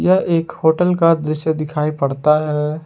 यह एक होटल का दृश्य दिखाई पड़ता है।